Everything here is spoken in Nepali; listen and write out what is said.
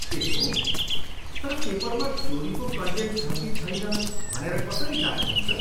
ए हो! तर पेपरमा चोरीको कन्टेन्ट छ कि छैन भनेर कसरी जाँच्नुहुन्छ?